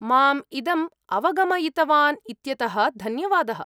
माम् इदम् अवगमयितवान् इत्यतः धन्यवादः।